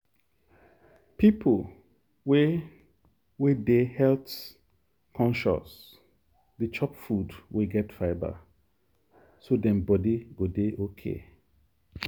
people wey wey dey health-conscious dey chop food wey get fibre so dem body go dey okay.